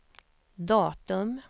datum